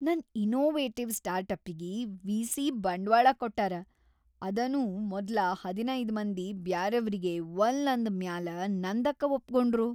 ನನ್‌ ಇನ್ನೊವೇಟಿವ್‌ ಸ್ಟಾರ್ಟಪ್ಪಿಗಿ ವಿ.ಸಿ. ಬಂಡ್ವಾಳ ಕೊಟ್ಟಾರ, ಅದನೂ ಮೊದ್ಲ ೧೫ ಮಂದಿ ಬ್ಯಾರೆಯವ್ರಿಗಿ ವಲ್ಲಂದ್‌ ಮ್ಯಾಲ ನಂದಕ್ಕ ಒಪಗೊಂಡ್ರು!